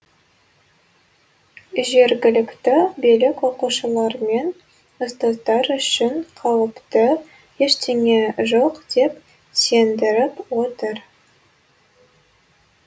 жергілікті билік оқушылар мен ұстаздар үшін қауіпті ештеңе жоқ деп сендіріп отыр